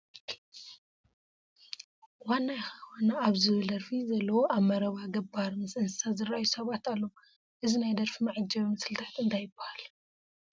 ዋና ኢኻ ዋና ኣብ ዝብል ደርፊ ዘለዉ ኣብ መረባ ገባር ምስ እንስሳ ዝርአዩ ሰባት ኣለዉ፡፡ እዚ ናይ ደርፊ መዓጀቢ ምስልታት እንታይ ይበሃል?